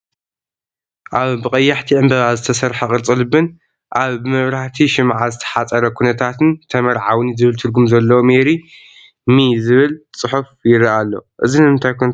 ኣብ ብቐያሕቲ ዕምባባ ዝተሰርሐ ቅርፂ ልብን ኣብ ብመብራህቲ ሽምዓ ዝተሓፀረ ኩነታትን ተመዓውኒ ዝብል ትርጉም ዘለዎ ሜሪ ሚ ዝብል ፅሑፍ ይርአ ኣሎ፡፡ እዚ ንምንታይ ኩነታት ይገልፅ?